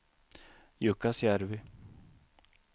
Jukkasjärvi